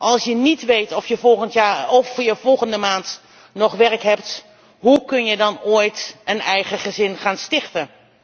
Als je niet weet of je volgend jaar of volgende maand nog werk hebt, hoe kun je dan ooit een eigen gezin gaan stichten?